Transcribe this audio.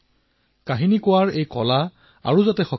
সাধু কোৱাৰ এই কলা দেশত অধিক শক্তিশালী হওক অধিক প্ৰচাৰিত হওক